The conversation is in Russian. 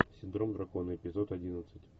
синдром дракона эпизод одиннадцать